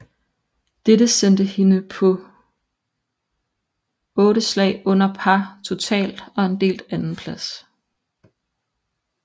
Dette sendte hende på 8 slag under par totalt og en delt andenplads